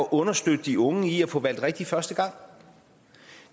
understøtter de unge i at få valgt rigtigt første gang